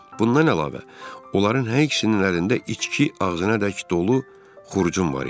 Bundan əlavə, onların hər ikisinin əlində içki ağzınadək dolu xurcun var idi.